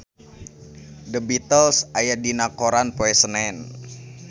The Beatles aya dina koran poe Senen